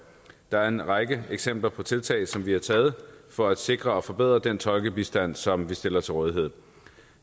der er en række eksempler på tiltag som vi har taget for at sikre og forbedre den tolkebistand som vi stiller til rådighed